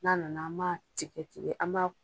N'a nana an m'a tigɛ tigɛ, an m'a